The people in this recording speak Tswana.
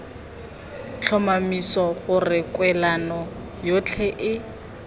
tlhomamisa gore kwalelano yotlhe e